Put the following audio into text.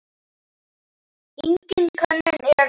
Engin könnun er það.